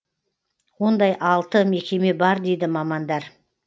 ондай алты мекеме бар дейді мамандар